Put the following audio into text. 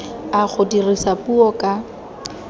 a go dirisa puo ka